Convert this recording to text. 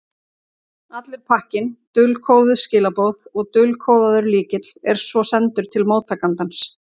Allur pakkinn, dulkóðuð skilaboð og dulkóðaður lykill, er svo sendur til móttakandans.